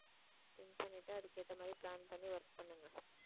think பண்ணிட்டு அதுக்கு ஏத்த மாதிரி plan பண்ணி work பண்ணுங்க